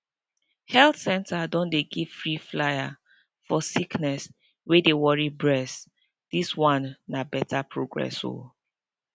health center don dey give free flyer for sickness wey dey worry bress dis one na beta progress o